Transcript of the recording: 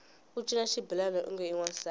u cina xibelani onge i wansati